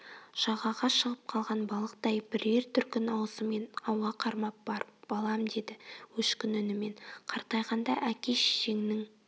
жағаға шығып қалған балықтай бірер дүркін аузымен ауа қармап барып балам деді өшкін үнімен қартайғанда әке-шешеңнің